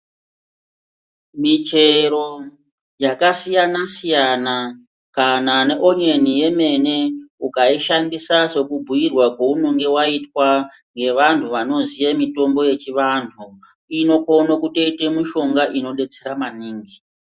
Michero yakasiyana-siyana kana neonyeni yemene, ukaishandisa sekubhuirwa kwaunonge vaitwa ngevantu vanoziye mitombo yechivantu inokone kutoite mushonga unodetsera maningi.